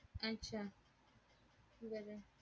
अच्छा बर